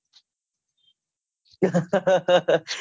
હ હ હ